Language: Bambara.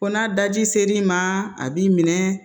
Ko n'a daji ser'i ma a b'i minɛ